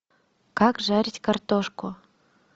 как жарить картошку